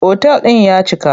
Otal ɗin ya cika.